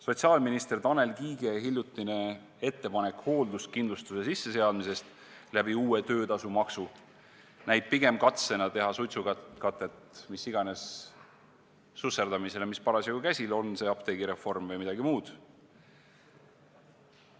Sotsiaalminister Tanel Kiige hiljutine ettepanek hoolduskindlustuse sisseseadmise kohta uue töötasumaksu abil näib pigem katsena teha suitsukatet mis iganes susserdamisele, mis parasjagu käsil on, olgu see apteegireform või midagi muud.